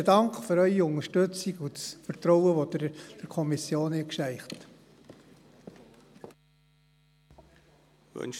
Vielen Dank für Ihre Unterstützung und für das Vertrauen, das Sie der Kommission entgegengebracht haben.